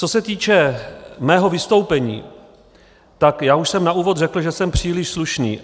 Co se týče mého vystoupení, tak já už jsem na úvod řekl, že jsem příliš slušný.